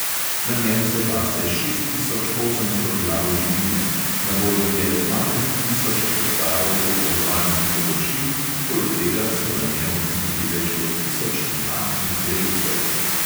Na njem se pase šest tisoč osemsto glav živine, na voljo je dvanajst tisoč hektarov obdelovalnih površin, poleg tega so na njem odkrili več kot tisoč naftnih vrelcev.